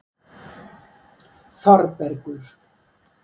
Þorbergur